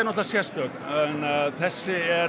sérstök en þessi